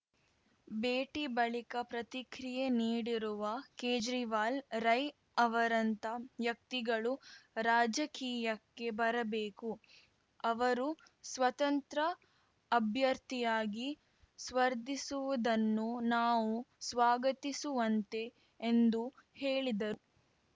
ಭೇಟಿ ಬಳಿಕ ಪ್ರತಿಕ್ರಿಯೆ ನೀಡಿರುವ ಕೇಜ್ರಿವಾಲ್‌ ರೈ ಅವರಂಥ ವ್ಯಕ್ತಿಗಳು ರಾಜಕೀಯಕ್ಕೆ ಬರಬೇಕು ಅವರು ಸ್ವತಂತ್ರ ಅಭ್ಯರ್ಥಿಯಾಗಿ ಸ್ಪರ್ಧಿಸುವದನ್ನು ನಾವು ಸ್ವಾಗತಿಸುವಂತೆ ಎಂದು ಹೇಳಿದರು